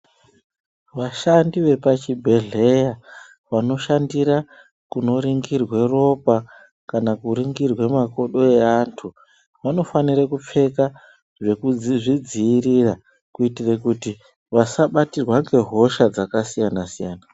Vashandi vepachibhedhleya, vanoshandira kunoringirwa ropa, kana kuringirwe makodo eantu, vanofanire kupfeka zvekuzvidziirira kuitire kuti vasabatirwa ngehosha dzakasiyana-siyana.